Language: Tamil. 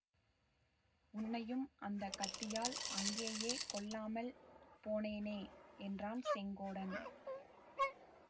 உன்னையும் அந்த கத்தியால் அங்கேயே கொல்லாமல் போனேனே என்றான் செங்கோடன்